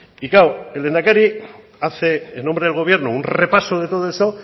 y claro el lehendakari hace en nombre del gobierno un repaso de todo eso